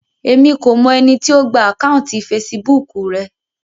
Èmi kò mọ ẹni tí ó gba àkáùntì fesibúùkù rẹ